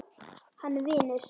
Hann vinur.